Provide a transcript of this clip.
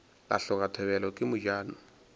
la hloka thobela ke mojano